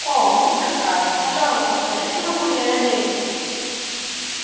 о мисс охара пожалуйста скажите могу ли я надеяться